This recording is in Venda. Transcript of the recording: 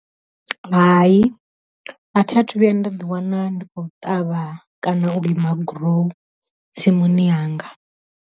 Hai a thi a thu vhuya nda ḓi wana ndi khou ṱavha kana u lima gurowu tsimuni yanga.